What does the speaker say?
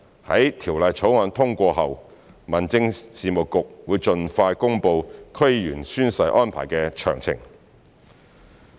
在《條例草案》通過後，民政事務局會盡快公布區議員宣誓安排的詳情。